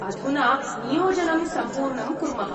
अधुना, नियोजनं सम्पूर्णं कुर्मः।